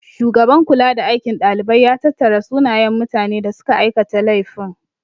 Shugaban kulada aikin dalibai ya tattara sunayen mutane da suka aikata laifin.